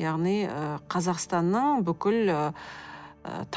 яғни ы қазақстанның бүкіл ы